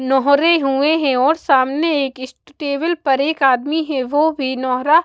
नोहरे हुए हैं और सामने एक टेबल पर एक आदमी है वो भी नोहरा--